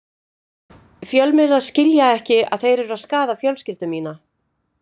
Fjölmiðlarnir skilja ekki að þeir eru að skaða fjölskyldu mína.